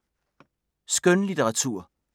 Skønlitteratur